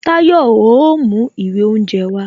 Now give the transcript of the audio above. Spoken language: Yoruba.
Tayo o mú ìwé oúnje wá